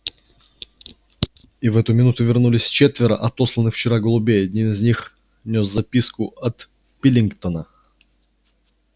и в эту минуту вернулись четверо отосланных вчера голубей один из них нёс записку от пилингтона